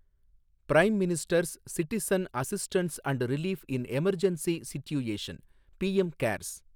prime minister's citizen assistance and relief in emergency situation, PM CARES